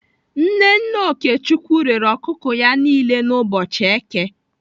Nne nne Okechukwu rere ọkụkọ ya niile n'ụbọchị èké.